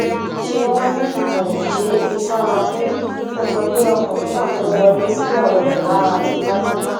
ṣé wọn ní kò ṣeé fi sára kù ó jọ pé ọkùnrin náà fẹẹ wọlé síyàwó rẹ lára tipátipá